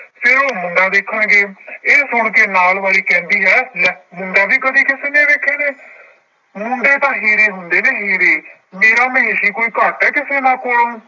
ਫਿਰ ਉਹ ਮੁੰਡਾ ਵੇਖਣਗੇ ਇਹ ਸੁਣਕੇ ਨਾਲ ਵਾਲੀ ਕਹਿੰਦੀ ਹੈ ਲੈ ਮੁੰਡਾ ਵੀ ਕਦੇ ਕਿਸੇ ਨੇ ਵੇਖੇ ਨੇ, ਮੁੰਡੇ ਤਾਂ ਹੀਰੇ ਹੁੰਦੇ ਨੇ ਹੀਰੇ, ਮੇਰਾ ਮਹੇਸੀ ਕੋਈ ਘੱਟ ਹੈ ਕਿਸੇ ਨਾ ਕੋਲੋਂ।